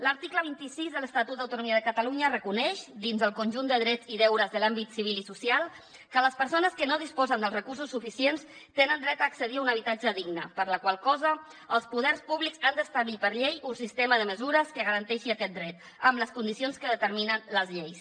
l’article vint sis de l’estatut d’autonomia de catalunya reconeix dins del conjunt de drets i deures de l’àmbit civil i social que les persones que no disposen dels recursos suficients tenen dret a accedir a un habitatge digne per la qual cosa els poders públics han d’establir per llei un sistema de mesures que garanteixin aquest dret amb les condicions que determinen les lleis